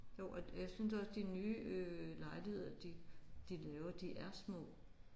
Jo og jeg synes også de nye øh lejligheder de de laver de er små